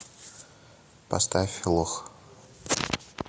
поставь лох